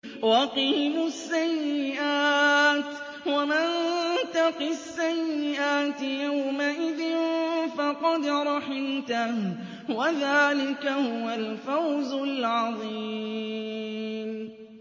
وَقِهِمُ السَّيِّئَاتِ ۚ وَمَن تَقِ السَّيِّئَاتِ يَوْمَئِذٍ فَقَدْ رَحِمْتَهُ ۚ وَذَٰلِكَ هُوَ الْفَوْزُ الْعَظِيمُ